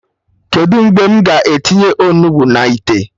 Kedụ mgbe m ga-etinye Onugbu na ite?